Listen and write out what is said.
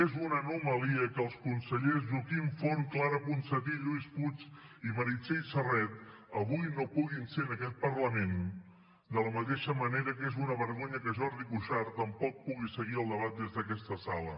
és una anomalia que els consellers joaquim forn clara ponsatí lluís puig i meritxell serret avui no puguin ser en aquest parlament de la mateixa manera que és una vergonya que jordi cuixart tampoc pugui seguir el debat des d’aquesta sala